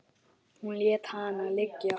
Hún lét hana liggja.